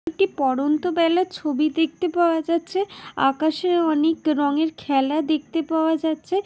একটি পড়ন্ত বেলার ছবি দেখতে পাওয়া যাচ্ছে আকাশে অনেক রংয়ের খেলা দেখতে পাওয়া যাচ্ছে।